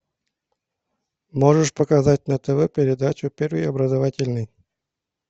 можешь показать на тв передачу первый образовательный